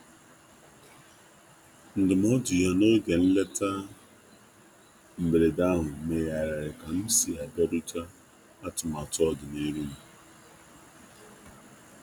Ndụmọdụ um ya n'oge nleta mberede ahụ megharịrị ka m si abịarute atụmatụ ọdi n'iru m.